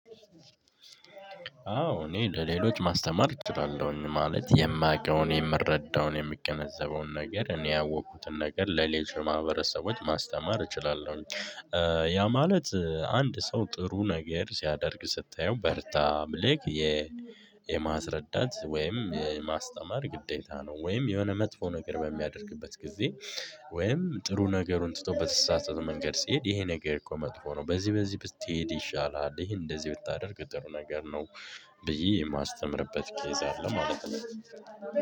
አዎ እኔ ለሌሎች ማስተማር እችላለሁኝ ማለት የማውቀውን የምረዳውን የምገነዘበውን ነገር እኔ ያወቅኩትን ነገር ለሌሎች ማህበረሰቦች ማስተማር እችላለሁ። ያ ማለት አንድ ሰው ጥሩ ነገር ሲያደርግ ስታየው በርታ ብለህ የማስረዳት ወይም የማስተማር ግዴታ ነው ወይም የሆነ መጥፎ ነገር በሚያደርግበት ጊዜ ወይም ጥሩ ነገሩን ትቶ በተሳሳተ መንገድ ሲሄድ ይሄ ነገር እኮ መጥፎ ነው። በዚህ በዚህ ብትሄድ ይሻላል ይሄ እንደዚህ ብታደርግ ጥሩ ነገር ነው። ብዬ የማስተምርበት ኬዝ አለ ማለት ነው